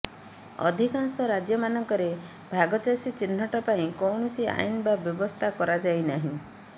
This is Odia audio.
ଅଧିକାଂଶ ରାଜ୍ୟମାନଙ୍କରେ ଭାଗଚାଷୀ ଚିହ୍ନଟ ପାଇଁ କୌଣସି ଆଇନ ବା ବ୍ୟବସ୍ଥା କରାଯାଇନାହିଁ